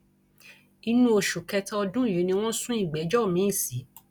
inú oṣù kẹta ọdún yìí ni wọn sún ìgbẹjọ miín sí